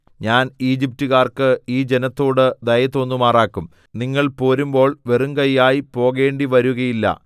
ഞാൻ ഈജിപ്റ്റുകാർക്ക് ഈ ജനത്തോട് ദയ തോന്നുമാറാക്കും നിങ്ങൾ പോരുമ്പോൾ വെറുങ്കയ്യായി പോകേണ്ടിവരുകയില്ല